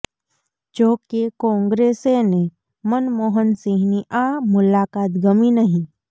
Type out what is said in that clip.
જો કે ક્રોંગ્રેસેને મનમોહન સિંહની આ મુલાકાત ગમી નહીં